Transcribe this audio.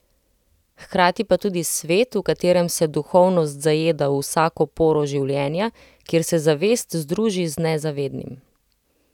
Hkrati pa tudi svet, v katerem se duhovnost zajeda v vsako poro življenja, kjer se zavest združi z nezavednim.